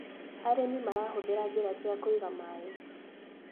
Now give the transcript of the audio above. Arĩmi marahũthĩra njĩra cia kũiga maĩ.